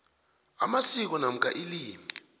amasiko namkha ilimi